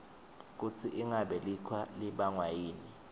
kutsi inqabe licwa libangwaytni